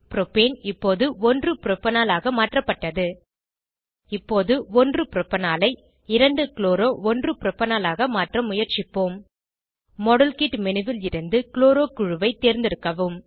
propane இப்போது 1 propanol ஆக மாற்றப்பட்டது இப்போது 1 ப்ரோபனாலை 2 க்ளோரோ 1 ப்ரோபனாலாக மாற்ற முயற்சிப்போம் மாடல் கிட் மேனு ல் இருந்து க்ளோரோ குழுவை தேர்ந்தெடுக்கவும்